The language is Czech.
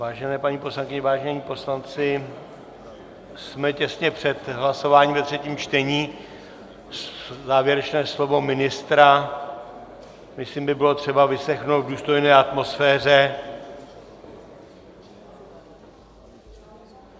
Vážené paní poslankyně, vážení poslanci, jsme těsně před hlasováním ve třetím čtení, závěrečné slovo ministra, myslím, by bylo třeba vyslechnout v důstojné atmosféře.